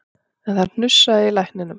En það hnussaði í lækninum